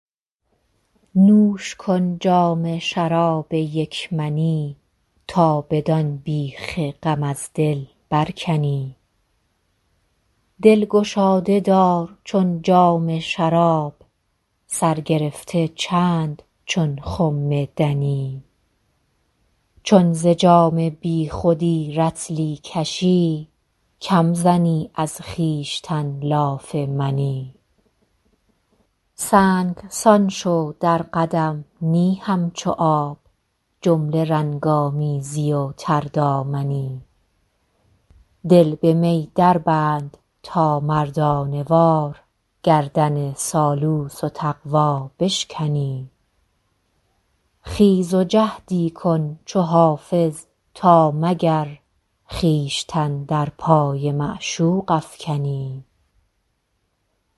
نوش کن جام شراب یک منی تا بدان بیخ غم از دل برکنی دل گشاده دار چون جام شراب سر گرفته چند چون خم دنی چون ز جام بی خودی رطلی کشی کم زنی از خویشتن لاف منی سنگسان شو در قدم نی همچو آب جمله رنگ آمیزی و تردامنی دل به می دربند تا مردانه وار گردن سالوس و تقوا بشکنی خیز و جهدی کن چو حافظ تا مگر خویشتن در پای معشوق افکنی